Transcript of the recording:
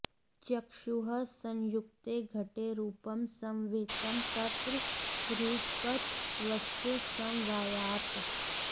चक्षुः संयुक्ते घटे रूपं समवेतं तत्र रूपत्वस्य समवायात्